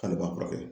K'ale ma furakɛ